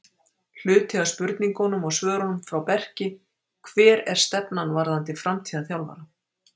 Hluti af spurningunum og svörum frá Berki: Hver er stefnan varðandi framtíðar þjálfara?